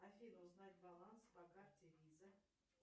афина узнать баланс по карте виза